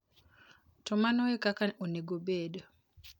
To mano e kaka onego obed!